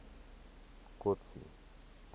kotsi